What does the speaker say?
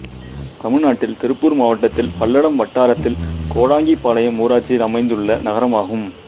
தமிழ்நாட்டில் திருப்பூர் மாவட்டத்தில் பல்லடம் வட்டாரத்தில் கோடாங்கிபாளையம் ஊராட்சியில் அமைந்துள்ள நகரமாகும்